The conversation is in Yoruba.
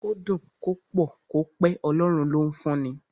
Kó dùn, kó pọ̀, kó pẹ́, Ọlọ́run ló ń fún ni.